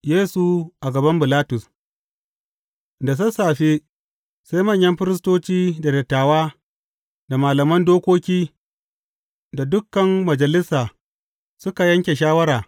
Yesu a gaban Bilatus Da sassafe, sai manyan firistoci da dattawa, da malaman dokoki, da dukan Majalisa, suka yanke shawara.